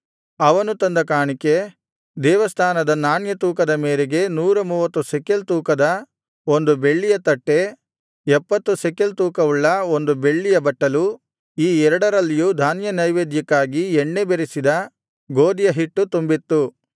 ಅವನು ತಂದ ಕಾಣಿಕೆ ದೇವಸ್ಥಾನದ ನಾಣ್ಯ ತೂಕದ ಮೇರೆಗೆ ನೂರ ಮೂವತ್ತು ಶೆಕೆಲ್ ತೂಕದ ಬೆಳ್ಳಿಯ ಒಂದು ತಟ್ಟೆ ಎಪ್ಪತ್ತು ಶೆಕಲ್ ತೂಕವುಳ್ಳ ಬೆಳ್ಳಿಯ ಒಂದು ಬಟ್ಟಲು ಈ ಎರಡರಲ್ಲಿಯೂ ಧಾನ್ಯನೈವೇದ್ಯಕ್ಕಾಗಿ ಎಣ್ಣೆ ಬೆರಸಿದ ಗೋದಿಯ ಹಿಟ್ಟು ತುಂಬಿತ್ತು